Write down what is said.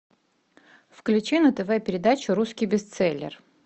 включи на тв передачу русский бестселлер